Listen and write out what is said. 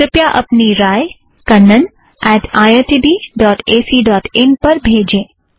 कृपया अपनी राय Kannan at IIT B dot AC dot in kannaniitbacइन पर भेजें